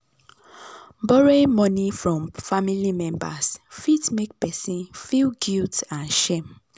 borrowing money from family members fit make person feel guilt and shame.